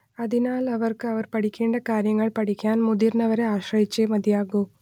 അതിനാൽ അവർക്ക് അവർ പഠിക്കേണ്ട കാര്യങ്ങൾ പഠിക്കാൻ മുതിർന്നവരെ ആശ്രയിച്ചേ മതിയാകൂ